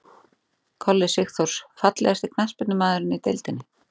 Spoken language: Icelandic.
Kolli Sigþórs Fallegasti knattspyrnumaðurinn í deildinni?